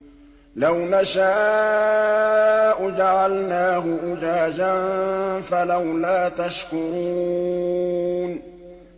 لَوْ نَشَاءُ جَعَلْنَاهُ أُجَاجًا فَلَوْلَا تَشْكُرُونَ